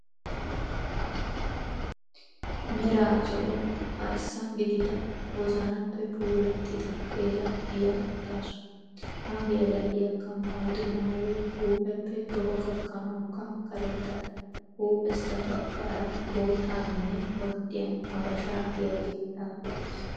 Meeraa zo'oo arissa giidida woozanappe puulaatida geela'iya uttaasu. Ha geela'iyaaka maayido maayoy huuphpeppe toho gaakanawukka kaaretta. Huuphpheesa bagaara boottaninne ordiyaan habaashsha giyaagee xaafeetis.